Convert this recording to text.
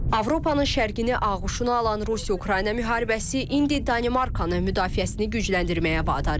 Avropanın şərqini ağuşuna alan Rusiya-Ukrayna müharibəsi indi Danimarkanı müdafiəsini gücləndirməyə vadar edib.